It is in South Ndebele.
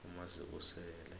umazibusele